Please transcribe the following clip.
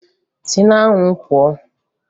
Si n'anwụ pụọ!